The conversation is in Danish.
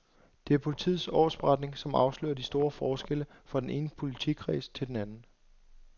Det er politiets årsberetning, som afslører de store forskelle fra den ene politikreds til den anden.